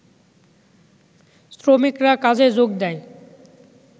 শ্রমিকরা কাজে যোগ দেয়